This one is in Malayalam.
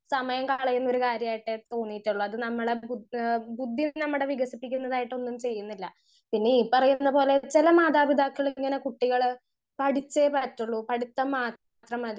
സ്പീക്കർ 1 സമയം കളയുന്നൊരു കാര്യായിട്ടാ തോന്നീട്ടുള്ളെ അത് നമ്മളെ ബുദ്ധ് എഹ് ബുദ്ധിയിൽ നമ്മടെ വികസിപ്പിക്കുന്നതായിട്ടൊന്നും ചെയ്യുന്നില്ല.പിന്നെ ഈ പറയുന്ന പൊലെ ചെല മാതാപിതാക്കൾ ഇങ്ങനെ കുട്ടികൾ പഠിച്ചേ പാറ്റൊള്ളു പഠിത്തം മാത്രം മതി